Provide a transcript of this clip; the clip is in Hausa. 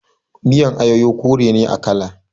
Miyan ayoyo kore ne a kala.